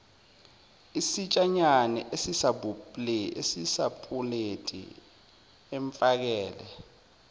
isitshanyana esisapuleti amfakele